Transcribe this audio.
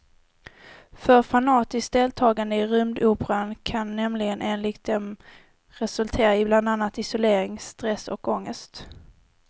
För fanatiskt deltagande i rymdoperan kan nämligen enligt dem resultera i bland annat isolering, stress och ångest.